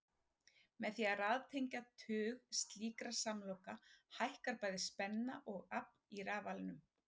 Með því að raðtengja tug slíkra samloka hækkar bæði spenna og afl í rafalanum.